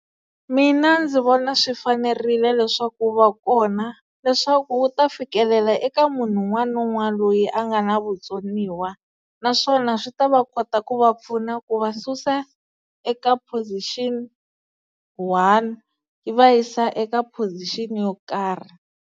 Mina ndzi vona swi fanerile leswaku wu va kona leswaku wu ta fikelela eka munhu un'wana na un'wana loyi a nga na vutsoniwa naswona swi ta va kota ku va pfuna ku va susa eka position one yi va yisa eka position yo karhi.